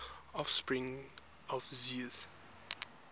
offspring of zeus